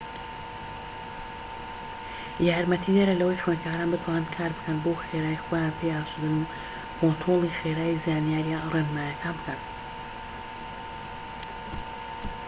یارمەتیدەرە لەوەی خوێندکاران بتوانن کار بکەن بەو خێراییەی خۆیان پێی ئاسودەن و کۆنترۆلی خێرایی زانیاریە ڕێنماییەکان بکەن